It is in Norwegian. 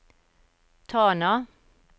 Tana